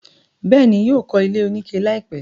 bẹ́ẹ̀ni, yóò kọ́ ilé oníke láìpẹ́.